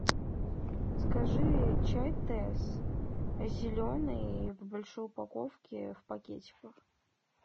закажи чай тесс зеленый в большой упаковке в пакетиках